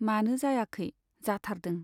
मानो जायाखै , जाथारदों।